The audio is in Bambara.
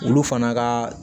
Olu fana ka